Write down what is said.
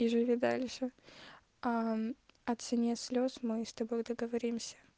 и живи дальше о цене слез мы с тобой договоримся